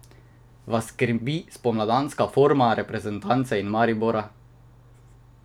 Vas skrbi spomladanska forma reprezentance in Maribora?